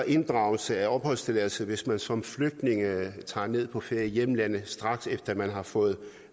inddragelse af opholdstilladelse hvis man som flygtning tager ned på ferie i hjemlandet straks efter man har fået